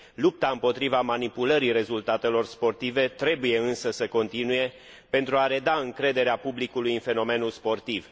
Lupta împotriva manipulării rezultatelor sportive trebuie, însă, să continue, pentru a reda încrederea publicului în fenomenul sportiv.